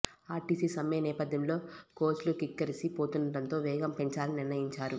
RTC సమ్మె నేపథ్యంలో కోచ్లు కిక్కిరిసి పోతుండటంతో వేగం పెంచాలని నిర్ణయించారు